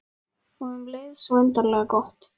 Og um leið svo undarlega gott.